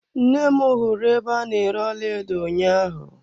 Nne m hụrụ ebe a na-ere ọlaedo ụnyaahụ.